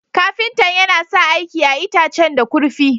Ƙafintan yana sa aiki a'itacen da kurfi.